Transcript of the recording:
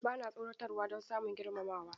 Ba na tsoratarwa don samun girmamawa.